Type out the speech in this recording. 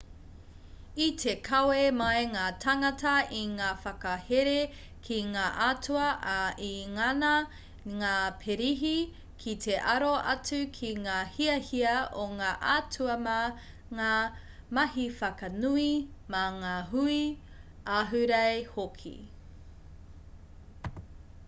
i te kawe mai ngā tāngata i ngā whakahere ki ngā atua ā i ngana ngā pirihi ki te aro atu ki ngā hiahia o ngā atua mā ngā mahi whakanui mā ngā hui ahurei hoki